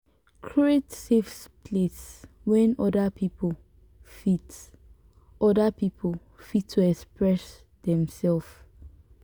create safe place wey oda pipo fit oda pipo fit to express dem self